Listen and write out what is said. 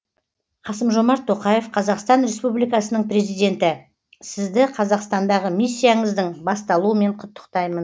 қасым жомарт тоқаев қазақстан республикасының президенті сізді қазақстандағы миссияңыздың басталуымен құттықтаймын